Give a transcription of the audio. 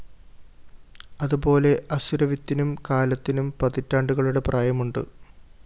അതുപോലെ അസുരവിത്തിനും കാലത്തിനും പതിറ്റാണ്ടുകളുടെ പ്രായമുണ്ട്